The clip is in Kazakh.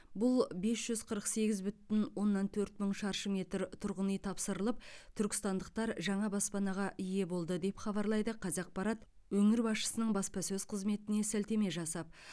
биыл бес жүз қырық сегіз бүтін оннан төрт мың шаршы метр тұрғын үй тапсырылып түркістандықтар жаңа баспанаға ие болды деп хабарлайды қазақпарат өңір басшысының баспасөз қызметіне сілтеме жасап